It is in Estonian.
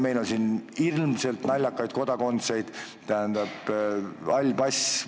Meil on kummalisi kaasmaalasi: mida tähendab hall pass?